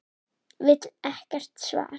Vill ekkert svar.